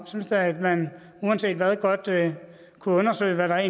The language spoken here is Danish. synes at man uanset hvad godt kunne undersøge hvad der